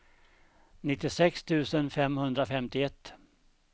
nittiosex tusen femhundrafemtioett